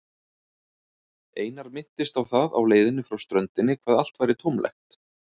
Einar minntist á það á leiðinni frá ströndinni hvað allt væri tómlegt.